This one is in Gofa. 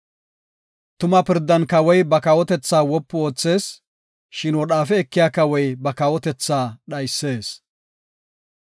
Tuma pirdan kawoy ba kawotethaa wopu oothees; shin wodhaafe ekiya kawoy ba kawotethaa dhaysees.